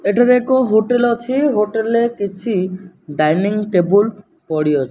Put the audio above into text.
ଏଠାରେ ଏକ ହୋଟେଲ ଅଛି ହୋଟେଲ ରେ କିଛି ଡାଇନିଂ ଟେବୁଲ ପଡ଼ିଅଛି।